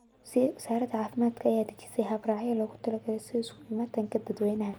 Wasaaradda caafimaadka ayaa dejisay hab-raacyo loogu talagalay isu imaatinka dadwaynaha.